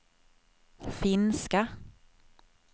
finska